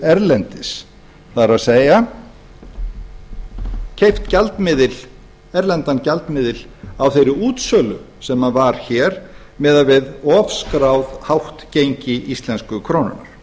erlendis það er keypt erlendan gjaldmiðil á þeirri útsölu sem var hér miðað við of hátt skráð gengi íslensku krónunnar